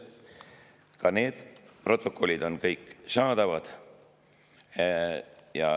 Ka need protokollid on kõik kättesaadavad.